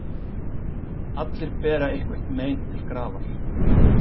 Allir bera eitthvert mein til grafar.